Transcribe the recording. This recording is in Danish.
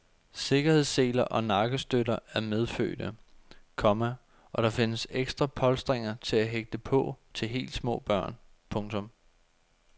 Sikkerhedsseler og nakkestøtter er medfødte, komma og der findes ekstra polstringer til at hægte på til helt små børn. punktum